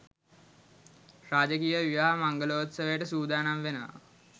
රාජකීය විවාහ මංගලෝත්සවයට සූදානම් වෙනවා.